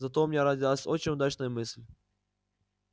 зато у меня родилась очень удачная мысль